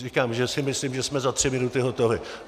Říkám, že si myslím, že jsme za tři minuty hotovi.